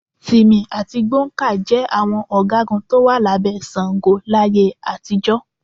Tìmì àti Gbọ̀ǹkáà jẹ àwọn ọ̀gágun tó wà lábẹ́ Ṣàngó láyé àtijọ́.